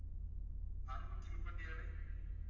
அறுநூத்தி முப்பத்தி ஏழு